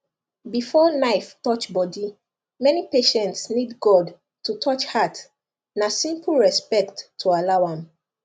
before knife touch body many patients need god to touch heart na simple respect to allow am